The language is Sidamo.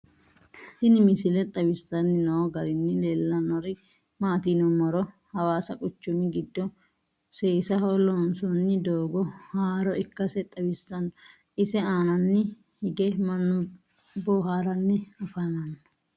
tinni misile xawissanni noo garinni leellannori maati yinummoro hawassa quchummi giddo seesaho loonsoonni doogo haarro ikkasse xawissanno . ise aannaanni hige mannu booharanni affammanno.